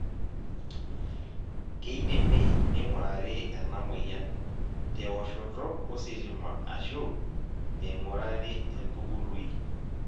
keidimi ningurari ena moyian, te oshoto ositima ashu eingurari entubului.